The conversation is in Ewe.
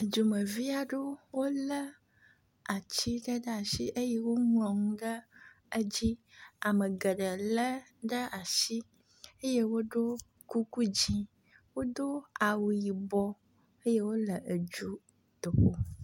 Dzumeviaɖewo le atsi ɖe ɖeasi eye wó ŋlɔŋu ɖe edzi amegeɖe le ɖe asi eye woɖó kuku dzĩ wodó awu yibɔ eye wóle edzutoƒo